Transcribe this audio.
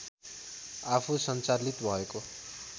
आफू सञ्चालित भएको